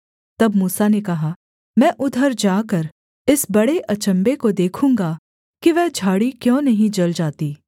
तब मूसा ने कहा मैं उधर जाकर इस बड़े अचम्भे को देखूँगा कि वह झाड़ी क्यों नहीं जल जाती